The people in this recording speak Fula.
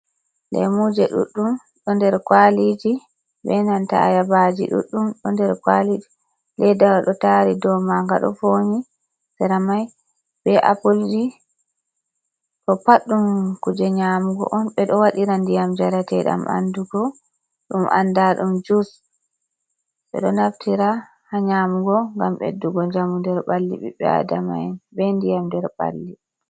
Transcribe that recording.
Lemuje ɗuɗɗum do nder kwaliji benanta ayabaji ɗuɗɗum do nder kwaliji leddawo ɗo tari dow manga do voni sera mai be appleji ɗo pad ɗum kuje nyamugo on, ɓeɗo waɗira ndiyam jarateɗam ɓandu bo ɗum andira ɗum jus ɓeɗo naftira ha nyamugo gam ɓeddugo jamu der balli ɓiɓɓe adama'en be ndiyam nder balli.